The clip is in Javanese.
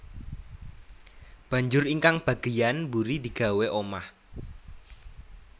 Banjur ingkang bagéyan mburi digawé omah